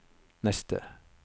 neste